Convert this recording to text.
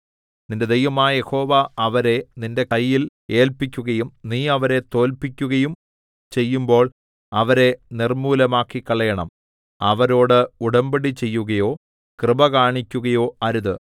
നിന്റെ ദൈവമായ യഹോവ അവരെ നിന്റെ കയ്യിൽ ഏല്പിക്കുയും നീ അവരെ തോല്പിക്കുകയും ചെയ്യുമ്പോൾ അവരെ നിർമ്മൂലമാക്കിക്കളയണം അവരോട് ഉടമ്പടി ചെയ്യുകയോ കൃപ കാണിക്കുകയോ അരുത്